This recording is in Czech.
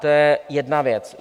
To je jedna věc.